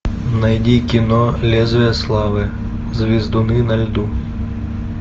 найди кино лезвия славы звездуны на льду